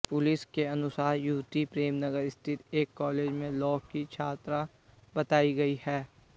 police के अनुसार युवती प्रेमनगर स्थित एक कालेज में लॉ की छात्रा बताई गई है